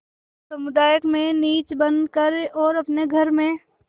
जनसमुदाय में नीच बन कर और अपने घर में